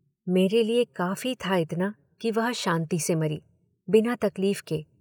मेरे लिये काफी था इतना कि वह शांति से मरी, बिना तकलीफ के।